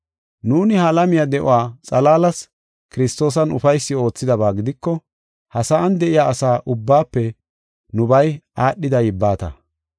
Nuuni ha alamiya de7uwa xalaalas Kiristoosan ufaysi oothidaba gidiko, ha sa7an de7iya asa ubbaafe nubay aadhida yibbata.